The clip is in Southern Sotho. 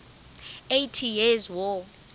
eighty years war